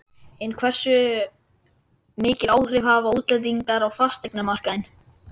En hversu mikil áhrif hafa útlendingar á fasteignamarkaðinn?